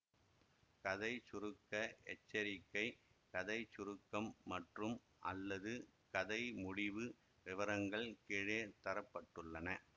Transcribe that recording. கதை சுருக்க எச்சரிக்கை கதை சுருக்கம் மற்றும்அல்லது கதை முடிவு விவரங்கள் கீழே தர பட்டுள்ளன